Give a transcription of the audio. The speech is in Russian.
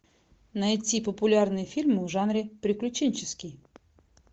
найти популярные фильмы в жанре приключенческий